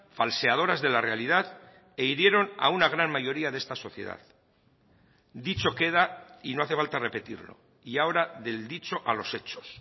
falseadoras de la realidad e hirieron a una gran mayoría de esta sociedad dicho queda y no hace falta repetirlo y ahora del dicho a los hechos